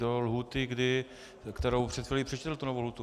Do lhůty, kterou před chvílí přečetl, tu novou lhůtu.